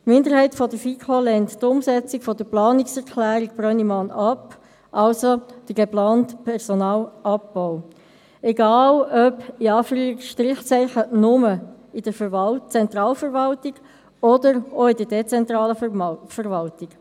Die Minderheit der FiKo lehnt die Umsetzung der Planungserklärung Brönnimann ab, also den geplanten Personalabbau, egal ob «nur» in der Zentralverwaltung oder auch in der dezentralen Verwaltung.